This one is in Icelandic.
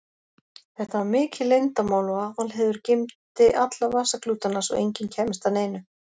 Þetta var mikið leyndarmál og Aðalheiður geymdi alla vasaklútana svo enginn kæmist að neinu.